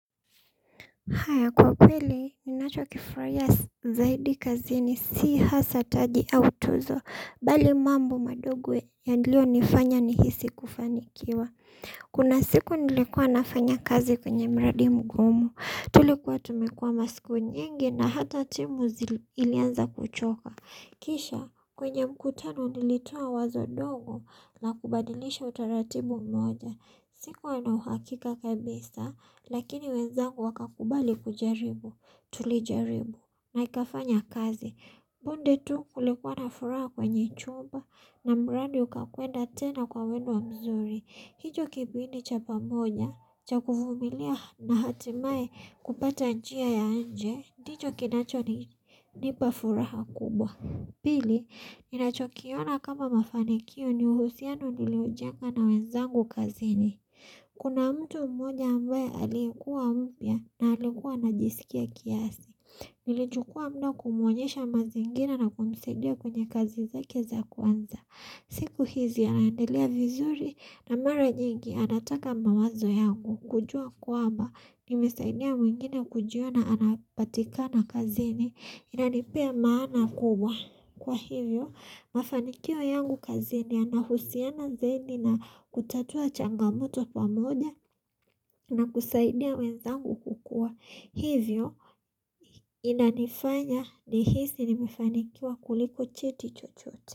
Haya kwa kweli ninachokifanya zaidi kazini si hasaa taji au tuzo bali mambo madogo yaliyonifanya nihisi kufanikiwa kuna siku nilikuwa nafanya kazi kwenye mradi mgumu, tulikuwa tumekua masiku nyingi na hata timu zili ilianza kuchoka. Kisha, kwenye mkutano nilitoa wazo dogo na kubadilisha utaratibu mmoja. Sikuwa na uhakika kabisa, lakini wenzangu wakakubali kujaribu, tulijaribu na ikafanya kazi. Punde tu kulikuwa na furaha kwenye chumba na mradi ukakwenda tena kwa mwendwa mzuri. Hicho kipindi cha pamoja, cha kuvumilia na hatimae kupata njia ya nje, ndicho kinachonipa furaha kubwa. Pili, ninachokiona kama mafanikio ni uhusiano nilioujenga na wenzangu kazini. Kuna mtu mmoja ambaye aliyekuwa mpya na alikuwa anajisikia kiasi. Nilichukua muda kumuonyesha mazingira na kumsaidia kwenye kazi zake za kwanza. Siku hizi anaendelea vizuri na mara nyingi anataka mawazo yangu. Kujua kwamba, nimesaidia mwingine kujiona anapatikana kazini. Inanipea maana kubwa kwa hivyo mafanikio yangu kazini yanahusiana zaidi na kutatua changamoto pamoja na kusaidia wenzangu kukua hivyo inanifanya nihisi nimefanikiwa kuliko cheti chochote.